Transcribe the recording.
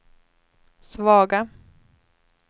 svaga